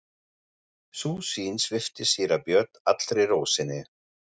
Sú sýn svipti síra Björn allri ró sinni.